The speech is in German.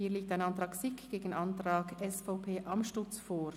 Hier liegt ein Antrag SiK gegen einen Antrag SVP/Amstutz vor.